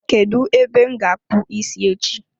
Kedụ ebe m ga-akpu isi echi?